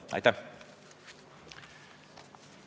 Aitäh!